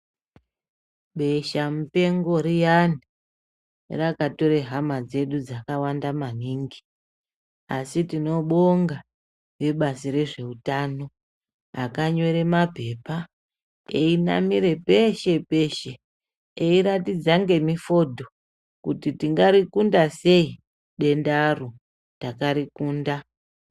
Beshamupengo riyani rakatore hama dzedu dzakawanda maningi asi tinobonga vebazi rezveutano akanyora mapepa einamira peshe peshe eiratidza ngemifodho kuti tingarikunda sei dendaro, takarikunda.